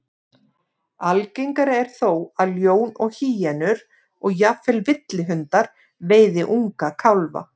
Algengara er þó að ljón og hýenur, og jafnvel villihundar, veiði unga kálfa.